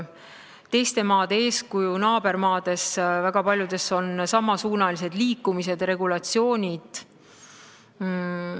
Teiste maade eeskuju – väga paljudes naabermaades on samasuunalised liikumised ja regulatsioonid.